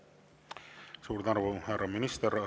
Suur tänu, härra minister!